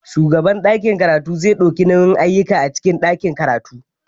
Shugaban ɗakin karatu zai ɗauki nauyin ayyukan a cikin ɗakin karatu.